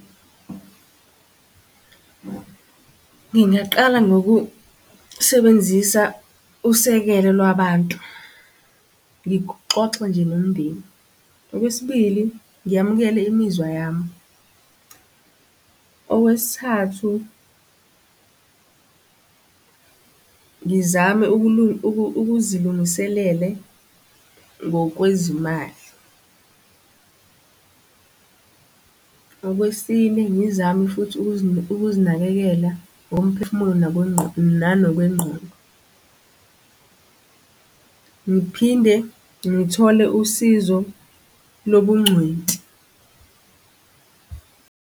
Ngingaqala ngokusebenzisa usekelo lwabantu, ngixoxa nje nomndeni. Okwesibili, ngiyamukela imizwa yami. Okwesithathu, ngizame ukuzilungiselele ngokwezimali. Okwesine, ngizame futhi ukuzinakekela ngokomphefumulo nanokwengqondo. Ngiphinde ngithole usizo lobuncweti.